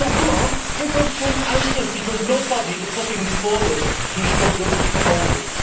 So come on, give us some answers, because nobody is putting forward constructive proposals.